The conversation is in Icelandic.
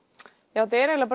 já þetta er eiginlega